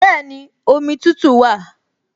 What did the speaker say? Bẹ́ẹ̀ni, omi tútù wà